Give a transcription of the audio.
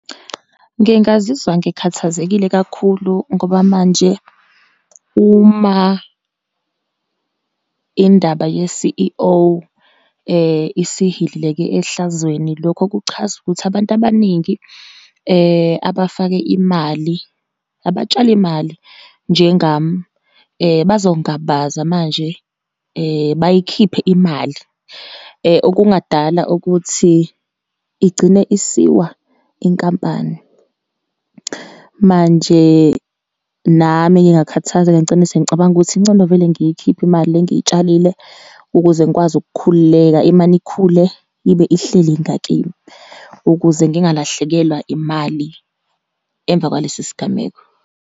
Ngingazizwa ngikhathazekile kakhulu, ngoba manje uma indaba ye-C_E_O isihilileke ehlazweni, lokho kuchaza ukuthi abantu abaningi abafake imali, abatshalimali njengami, bazongabaza manje bayikhiphe imali, okungadala ukuthi igcine isiwa inkampani. Manje nami ngingakhathazake ngigcine sengicabanga ukuthi kungcono vele ngiyikhiphe imali le engiyitshalile, ukuze ngikwazi ukukhululeka, imane ikhule ibe ihleli ngakimi, ukuze ngingalahlekelwa imali emva kwalesi sigameko.